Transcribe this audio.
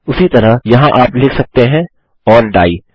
उसी तरह यहाँ आप लिख सकते हैं ओर डाइ